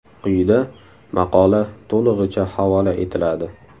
Quyida maqola to‘lig‘icha havola etiladi.